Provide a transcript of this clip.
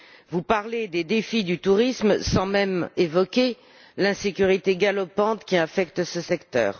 Vous parlez des défis du tourisme sans même évoquer l'insécurité galopante qui infecte ce secteur.